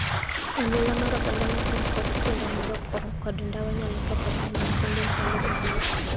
Aluora mar oganda mopong' kod kuonde madho kong'o kod ndawa nyalo ketho ngima nyithindo e ndalo mabiro.